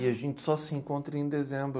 E a gente só se encontra em dezembro.